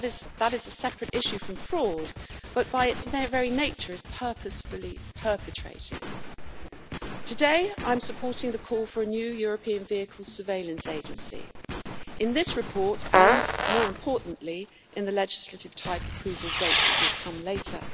That is a separate issue from fraud but, by its very nature, is purposefully perpetrated. Today I am supporting the call for a new European Vehicle Surveillance Agency in this report and, more importantly, in the legislative type approval vote that will come later.